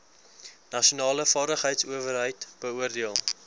nasionale vaardigheidsowerheid beoordeel